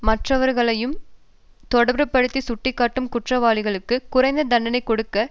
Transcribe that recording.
மற்றவர்களையும் தொடர்புபடுத்தி சுட்டிக்காட்டும் குற்றவாளிகளுக்கு குறைந்த தண்டனை கொடுக்க